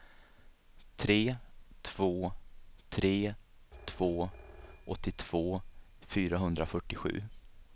tre två tre två åttiotvå fyrahundrafyrtiosju